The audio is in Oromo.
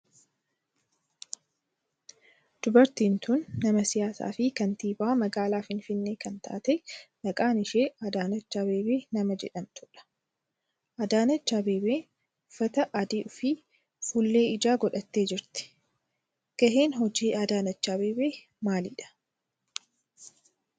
Dubartiin tun nama siyaasaa fi kantiibaa magaalaa finfinnee kan taate maqaan ishee Adaanech Abeebee nama jedhamtudha. Adaanech Abeebee uffata adii fi fuullee ijaa godhattee jirti. Gaheen hojii Adaanech Abeebee maalidha?